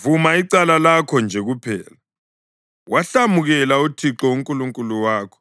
Vuma icala lakho nje kuphela, wahlamukela uThixo uNkulunkulu wakho,